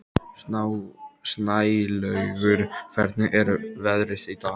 Snælaugur, hvernig er veðrið í dag?